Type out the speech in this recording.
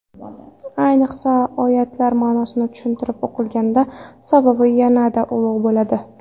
Ayniqsa, oyatlar ma’nosi tushunib o‘qilganda savobi yanada ulug‘ bo‘ladi.